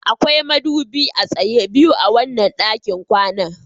Akwai madubi a tsaye biyu a wannan ɗakin kwanan